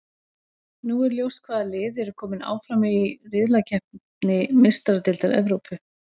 Nú er ljóst hvaða lið eru kominn áfram í riðlakeppni Meistaradeildar Evrópu.